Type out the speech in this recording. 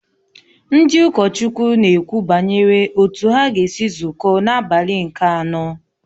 Ndị ụkọchukwu na-ekwu banyere otú ha ga-esi zukọ n’abalị nke anọ